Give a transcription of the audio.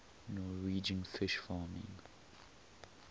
norwegian fish farming